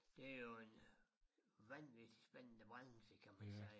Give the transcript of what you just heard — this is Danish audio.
Det jo en øh vanvittig spændende branche kan man sige